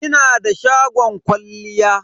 Ina da shagon kwalliya.